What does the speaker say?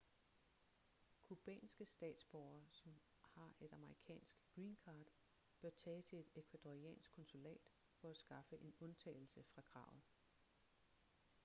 cubanske statsborgere som har et amerikansk green card bør tage til et ecuadoriansk konsulat for at skaffe en undtagelse fra kravet